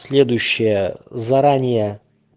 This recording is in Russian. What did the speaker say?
следующее заранее